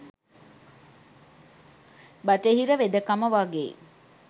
බටහිර වෙදකම වගෙයි.